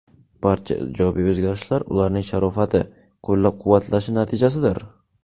Barcha ijobiy o‘zgarishlar ularning sharofati, qo‘llab-quvvatlashi natijasidir.